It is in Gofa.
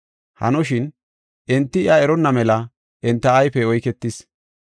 Hanoshin, enti iya eronna mela enta ayfey oyketis.